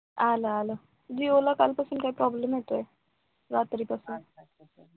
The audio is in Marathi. आलं आलं जिओ ला काय कालपासून काय problem होतोय रात्रीपासून